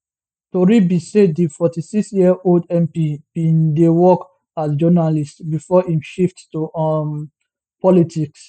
tori be say di 46 year old mp bin dey work as journalist bifor im shift to um politics